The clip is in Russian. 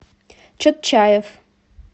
чотчаев